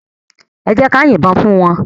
Èjèká yin bòn fún wán